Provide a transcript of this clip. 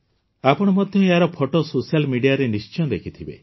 ଆପଣ ମଧ୍ୟ ଏହାର ଫଟୋ ସୋସିଆଲ୍ ମିଡିଆରେ ନିଶ୍ଚୟ ଦେଖିଥିବେ